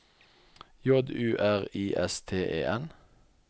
J U R I S T E N